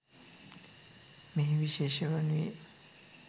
මෙහි විශේෂය වනුයේ